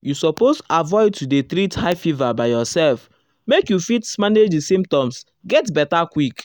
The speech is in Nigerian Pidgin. you suppose avoid to dey treat high fever by yourself make you fit manage di symptoms get beta quick.